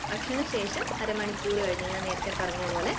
ഭക്ഷണശേഷം അരമണിക്കൂർ കഴിഞ്ഞു ഞാൻ നേരത്തെ പറഞ്ഞപോലെ